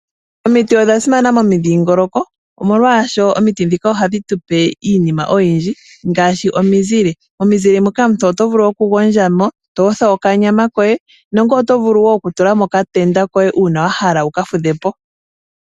Omiti odha simana momidhingoloko omolwaashoka omiti ndhika ohadhi tupe iinima oyindji ngaashi omizile. Omizile moka omuntu oto vulu okugondjamo , toyotha okanyama koye nenge oto vulu wo kutulamo okatenda koye uuna wahala wuka fudhepo.